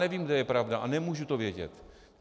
Nevím, kde je pravda, a nemůžu to vědět.